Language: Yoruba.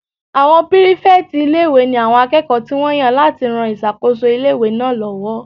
Àwọn pírífẹ̀tì ilé-ìwé ní àwọn akẹ́kọ̀ọ́ tí wọ́n yàn láti ran ìṣàkóso ilé-ìwé náà lọ́wọ́